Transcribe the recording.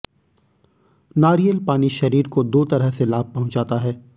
नारियल पानी शरीर को दो तरह से लाभ पहुंचाता है